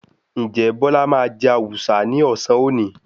Ǹjẹ́ Bọ́lá máa jẹ Awùsá ní ọ̀sán òní?